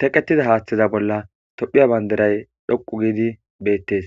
teqqetida haaththeza bolla tophiya banderay dhoqu giidi beettes